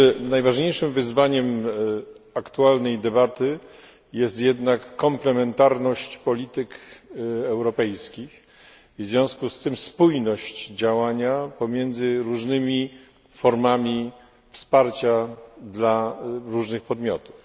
Najważniejszym wyzwaniem aktualnej debaty jest jednak komplementarność polityk europejskich i w związku z tym spójność działania pomiędzy różnymi formami wsparcia dla różnych podmiotów.